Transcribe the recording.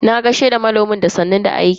Na gaishe da manomin da sannun da aiki.